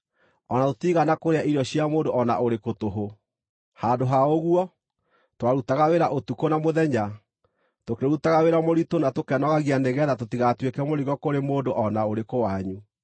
o na tũtiigana kũrĩa irio cia mũndũ o na ũrĩkũ tũhũ. Handũ ha ũguo, twarutaga wĩra ũtukũ na mũthenya, tũkĩrutaga wĩra mũritũ na tũkenogagia nĩgeetha tũtigatuĩke mũrigo kũrĩ mũndũ o na ũrĩkũ wanyu.